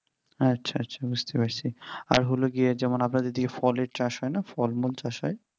আচ্ছা আচ্ছা আচ্ছা বুঝতে পারছি আর হলো গিয়ে যেমন আপনার দিকে ফলের চাষ হয় না ফলমূল চাষ হয়